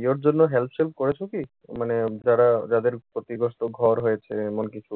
ইয়ের জন্য help সেল্প করেছ কি? মানে যারা যাদের ক্ষতিগ্রস্থ ঘর রয়েছে এমন কিছু।